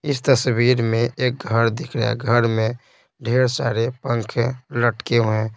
इस तस्वीर में एक घर दिख रहा है घर में ढेर सारे पंखे लटके हुए हैं।